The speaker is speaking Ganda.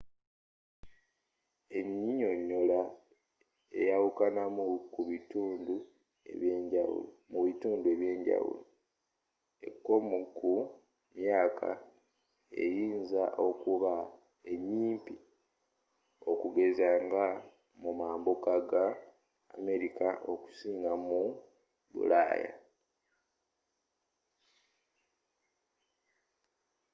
ennyinnyonnyola eyawukanamu mu bitundu ebyenjawulo ekkomo ku myaka eyinza okuba enyimpi okugeza nga mu mambuka ga amerika okusinga mu bulaaya